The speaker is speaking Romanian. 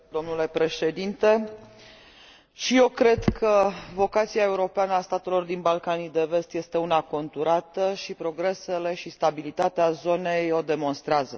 Domnule președinte, și eu cred că vocația europeană a statelor din Balcanii de Vest este una conturată și progresele și stabilitatea zonei o demonstrează.